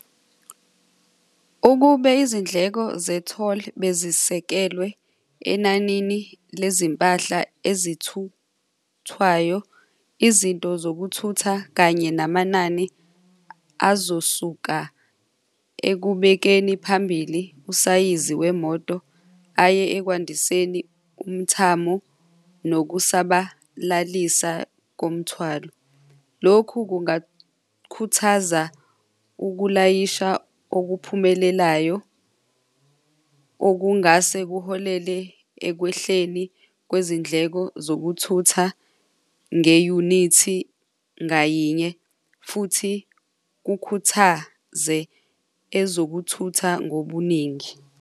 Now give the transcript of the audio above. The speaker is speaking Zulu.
Ukube izindleko ze-toll bezisekelwe enanini lezimpahla ezithuthwayo, izinto zokuthutha kanye namanani azosuka ekubekeni phambili usayizi wemoto aye ekwandiseni umthamo nokusabalalisa komthwalo. Lokhu kungakhuthaza ukulayisha okuphumelelayo okungase kuholele ekwehleni kwezindleko zokuthutha ngeyunithi ngayinye futhi kukhuthaze ezokuthutha ngobuningi.